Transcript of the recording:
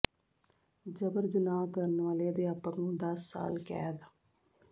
ਜਬਰ ਜਨਾਹ ਕਰਨ ਵਾਲੇ ਅਧਿਆਪਕ ਨੂੰ ਦਸ ਸਾਲ ਕੈਦ